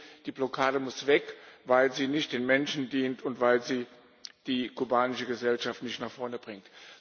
Deswegen Die Blockade muss weg, weil sie nicht den Menschen dient und weil sie die kubanische Gesellschaft nicht nach vorne bringt.